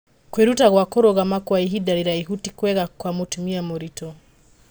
kwĩruta gwa kũrũgama kwa ihinda rĩraihu ti kwega kwa mũtumia mũritũ